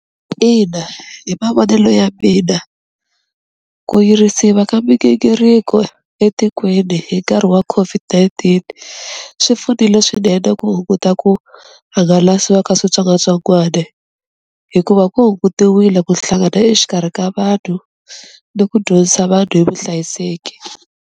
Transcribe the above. Ina hi mavonelo ya mina ku yirisiwa ka migingiriko etikweni hi nkarhi wa COVID-19 swi pfunile swinene ku hunguta ku hangalasiwa ka switsongwatsongwani, hikuva ku hungutiwile ku hlangana exikarhi ka vanhu ni ku dyondzisa vanhu hi vuhlayiseki.